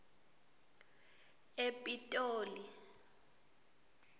epitoli